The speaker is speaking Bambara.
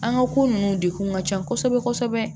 An ka ko nunnu de kun ka can kosɛbɛ kosɛbɛ